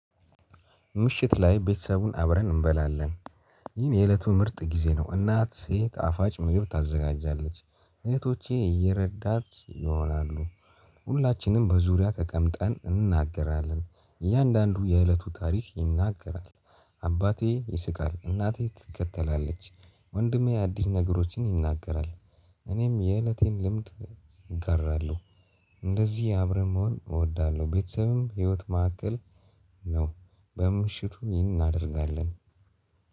ምሽት ላይ ቤተሰቡን አብረን እንበላለን ይህን የእለቱ ምርጥ ጊዜ ነው። እናት ሴት ጣፋጭ ምግብ ታዘጋጃለች። እህቶቼ እየረዳት ይሆናሉ። ሁላችንም በዙሪያ ተቀምጠን እንናገራለን እያንዳንዱ የእለቱ ታሪክ ይናገራል። አባቴ ይስቃል እናቴ ትከተላለች። ወንድሜ አዲስ ነገሮችን ይናገራል። እኔም የእለቴን ልምድ እጋራለሁ። እንደዚህ አብረን መሆን እወዳለሁ ቤተሰብም ህይወት መካከል ነው። በምሽቱ ይህን እናደርጋለን።